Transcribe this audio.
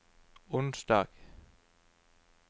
onsdag